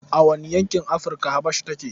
A wane yankin Afrika Habasha take?